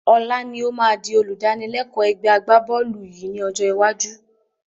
Ọlá ni ó má di olùdánilẹ́kọ̀ ẹgbẹ́ agbá-bọ́ọ́lù yìí ni ọjọ́ iwájú